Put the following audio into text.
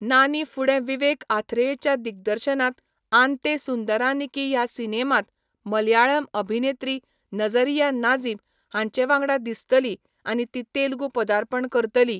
नानी फुडें विवेक आथरेयाच्या दिग्दर्शनांत आंते सुंदरानिकी ह्या सिनेमांत मलयाळम अभिनेत्री नजरिया नाझीम हांचे वांगडा दिसतली आनी ती तेलुगू पदार्पण करतली.